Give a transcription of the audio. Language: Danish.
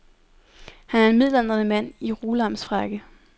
Han er en midaldrende mand i rulamsfrakke.